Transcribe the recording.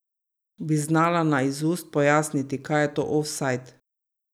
Bi znala na izust pojasniti, kaj je to ofsajd?